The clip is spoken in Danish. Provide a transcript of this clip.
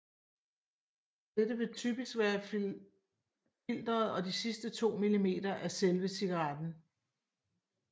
Dette vil typisk være filteret og de sidste 2 millimeter af selve cigaretten